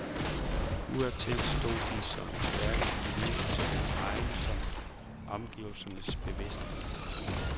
Udadtil stod de som stærke individer i såvel egen som omgivelsernes bevidsthed.